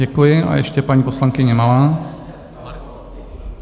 Děkuji a ještě paní poslankyně Malá.